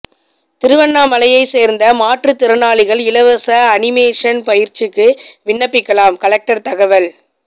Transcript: திருவண்ணாமலையை சேர்ந்த மாற்றுத்திறனாளிகள் இலவச அனிமேஷன் பயிற்சிக்கு விண்ணப்பிக்கலாம் கலெக்டர் தகவல்